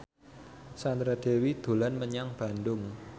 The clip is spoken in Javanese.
Sandra Dewi dolan menyang Bandung